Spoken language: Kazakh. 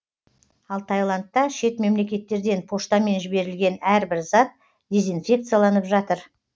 ал таиландта шет мемлекеттерден поштамен жіберілген әрбір зат дезинфекцияланып жатыр